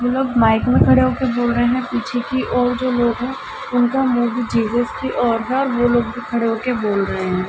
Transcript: कुछ लोग माइक में खड़े होकर बोल रहे हैं पीछे की ओर जो लोग हैं उनका मुह भी जीसस की ओर है और वो लोग भी खड़े होकर बोल रहे हैं।